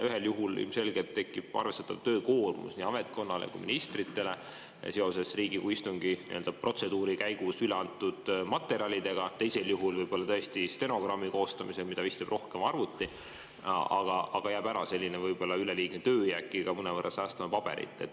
Ühel juhul ilmselgelt tekib arvestatav töökoormus nii ametkonnale kui ka ministritele seoses Riigikogu istungi nii-öelda protseduuri käigus üle antud materjalidega, teisel juhul võib-olla tõesti stenogrammi koostamisel, mida vist teeb siiski rohkem arvuti, aga siis jääb ära selline võib-olla üleliigne töö ja äkki ka mõnevõrra säästame paberit.